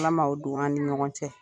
Ala ma o don an ni ɲɔgɔn cɛ